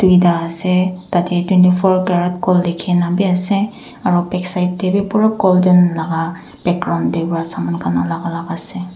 duita ase tate twenty four carat gold likhina bi ase aru backside te bi pura golden la background te ra saman khan alak alak ase.